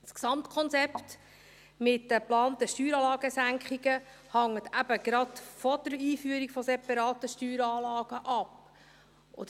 Das Gesamtkonzept mit den geplanten Steueranlagesenkungen hängt eben gerade von der Einführung separater Steueranlagen ab.